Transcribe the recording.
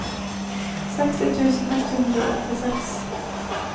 seksti tusen ett hundre og åttiseks